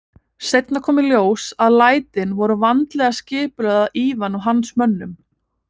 Seinna kom í ljós að lætin voru vandlega skipulögð af Ivan og hans mönnum.